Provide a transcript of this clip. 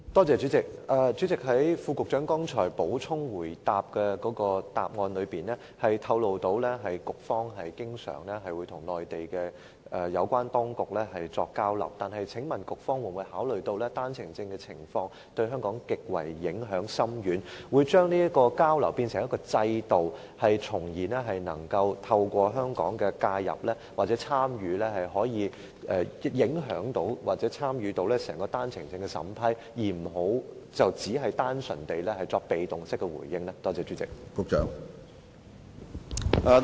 主席，局長剛才在回應補充質詢時透露局方經常與內地有關當局作交流，請問局方有否考慮到單程證的情況對香港構成極深遠的影響，可否把交流變成一個制度，透過香港的介入或參與，從而影響或參與整個單程證的審批程序，而不要單純地作被動式的回應呢？